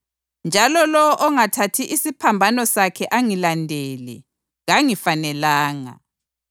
njalo lowo ongathathi isiphambano sakhe angilandele kangifanelanga.